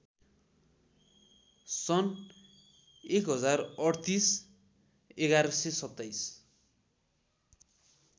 सन् १०३८ ११२७